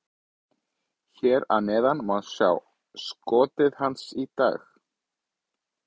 Hér að neðan má sjá skotið hans í dag: